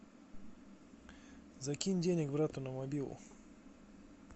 закинь денег брату на мобилу